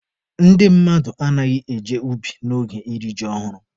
Ndị mmadụ anaghị eje ubi n'oge iri ji ọhụrụ.